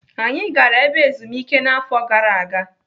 Anyị gara ebe ezumike n'afọ gara aga.